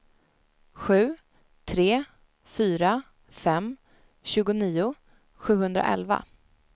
sju tre fyra fem tjugonio sjuhundraelva